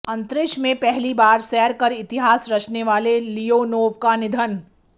अंतरिक्ष में पहली बार सैर कर इतिहास रचने वाले लियोनोव का निधन